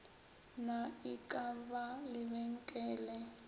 na e ka ba lebenkele